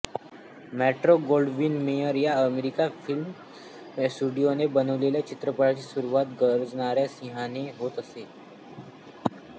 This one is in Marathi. मेट्रो गोल्डविन मेयर या अमेरिकन फिल्म स्टुडियोने बनविलेल्या चित्रपटाची सुरुवात गरजणाऱ्या सिंहाने होत असे